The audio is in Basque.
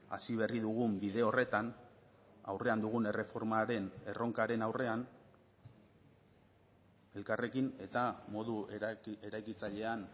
hasi berri dugun bide horretan aurrean dugun erreformaren erronkaren aurrean elkarrekin eta modu eraikitzailean